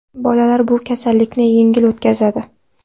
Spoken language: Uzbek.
Bolalar bu kasallikni yengil o‘tkazadi.